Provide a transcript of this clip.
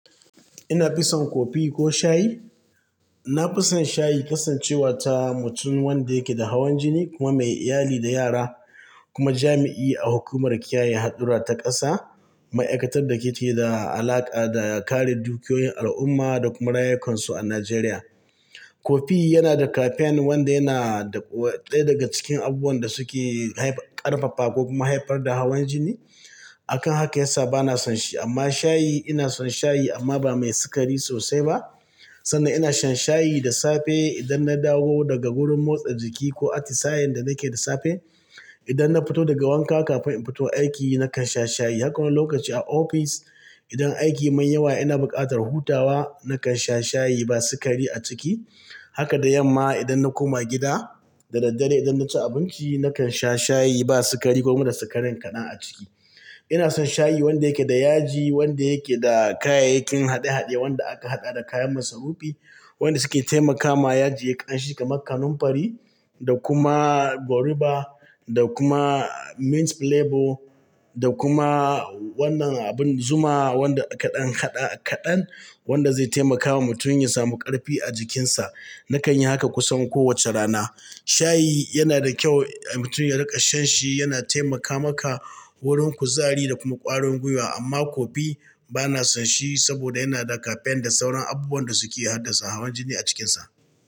Ina fison cofee ko shayi? Na fison shayi kasancewa ta mutum wanda yake da hawan jini kuma mai iyali da yara kuma jami'i a hukumar kiyaye hadura ta ƙasa, ma'aikatar da ke da alaƙa da kare dukiyoyin al'umma da kuma rayukansu a Najeriya. Kofi yana da kafain wanda yana ɗaya daga cikin abubuwan da suke ƙarfafa ko kuma haifar da hawan jini. Akan haka yasa bana son shi amma shayi ina son shayi amma ba mai sikari sosai ba. Sanda ina shan shayi da safe idan na dawo daga wurin motsa jiki ko ati sayen da nake da safe. Idan na fito daga wanka kafin in fito aiki nakan sha shayi. Haka wani lokaci a ofis idan aiki yamin yawa ina buƙatar hutawa nakan sha shayi ba sikari a ciki. Haka da yamma idan na koma gida da daddare idan na ci abinci nakan sha shayi ba sikari ko kuma da sikarin kaɗan a ciki. Ina son shayi wanda yake da yaji, wanda yake da kayayyakin haɗe-haɗe wanda aka haɗa da kayan masarufi wanda suke taimakawa yaji yayi ƙan shi kamar kanunfari da kuma goruba da kuma mint flavour da kuma wannan abin zuma wanda kaɗan kaɗan wanda zai taimakawa mutum ya samu ƙarfi a jikinsa. Nakan yi haka kusan kowace rana. Shayi yana da kyau a mutum ya riƙa shan shi, yana taimaka maka wurin kuzari da kuma ƙwarin gwiwa amma kofi bana son shi saboda yana da kafain da sauran abubuwan da suke haddasa hawan jini a cikinsa.